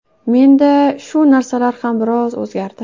Menda shu narsalar ham biroz o‘zgardi”.